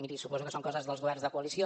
miri suposo que són coses dels governs de coalició